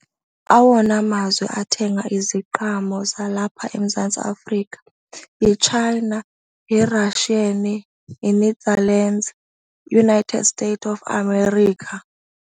Awona amazwe athenga iziqhamo zalapha eMzantsi Afrika yiChina, yiRussia, yiNetherlands, yiUnited States of America.